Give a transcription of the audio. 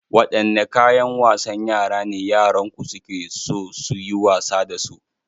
Wadanne kayan wasan yara ne yaranku suke so su yi wasa da su?